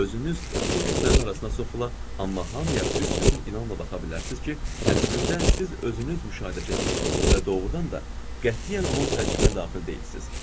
Özünüz bu kütlənin arasına soxula, amma hamıya büsbütün inanla baxa bilərsiniz ki, əslində siz özünüz müşahidəçisiniz və doğrudan da qətiyyən onun tərkibinə daxil deyilsiniz.